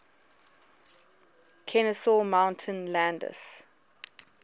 kenesaw mountain landis